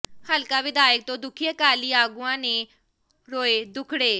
ਹਲਕਾ ਵਿਧਾਇਕ ਤੋਂ ਦੁਖੀ ਅਕਾਲੀ ਆਗੂਆਂ ਨੇ ਰੋਏ ਦੁਖੜੇ